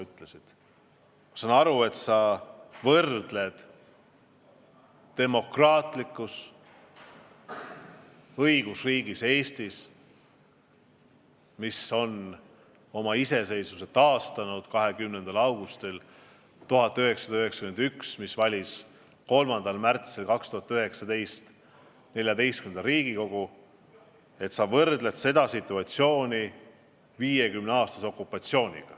Ma saan aru, et sa võrdled situatsiooni demokraatlikus õigusriigis Eestis, mis taastas oma iseseisvuse 20. augustil 1991 ja mis valis 3. märtsil 2019. aastal XIV Riigikogu, situatsiooniga 50 aasta pikkuses okupatsioonis.